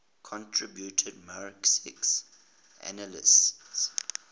contributed marxist analyses